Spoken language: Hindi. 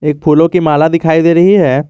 एक फूलों की माला दिखायी दे रही है।